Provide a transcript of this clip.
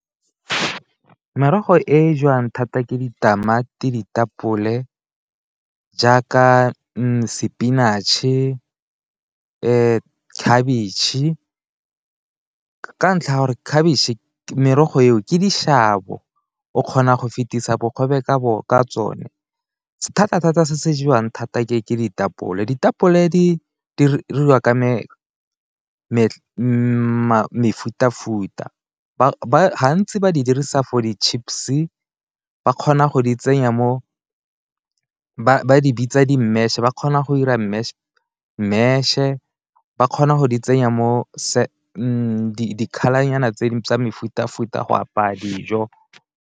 Merogo e jewang thata ke ditamati, ditapole jaaka spinach-e, khabitšhe ke ka ntlha ya gore merogo eo ke dishabo, o kgona go fetisa bogobe ka tsone. Thata-thata se se jewang thata ke ditapole, ditapole di diriwa ka mefuta-futa gantsi ba di dirisa for di-chips ba kgona go di tsenya mo, ba di bitsa di-mash ba kgona go dira mash, ba kgona go di tsenya mo di-colour-nyana tsa mefuta-futa go apaya dijo.